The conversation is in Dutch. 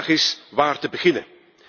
De vraag is waar te beginnen?